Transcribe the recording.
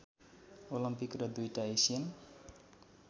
Olympic र दुईटा Asian